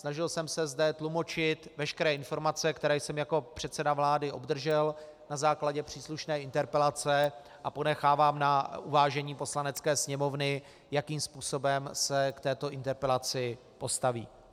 Snažil jsem se zde tlumočit veškeré informace, které jsem jako předseda vlády obdržel na základě příslušné interpelace, a ponechávám na uvážení Poslanecké sněmovny, jakým způsobem se k této interpelaci postaví.